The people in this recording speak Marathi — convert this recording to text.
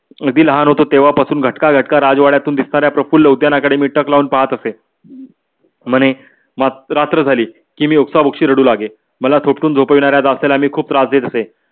अगदी लहान होतो तेव्हा पासून घटका घटका राजवड्यातून निघतांना प्रफुल्ल उद्यानात मी टक लाऊन पाहत असे . म्हणे रात्र झाली की मी ओक्साबोक्शी रडू लागे. मला थोडपून झोपवणाऱ्या दासीला मी खूप त्रास देत असे.